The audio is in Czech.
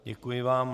Děkuji vám.